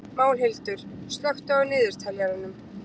Málhildur, slökktu á niðurteljaranum.